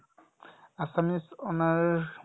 assamese honours